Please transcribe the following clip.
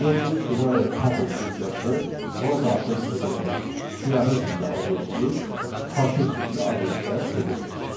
Gördüyünüz kimi burada tuple funksiyası ona daxil edilən siyahı tipli obyekti kortec tipli obyektə çevirdi.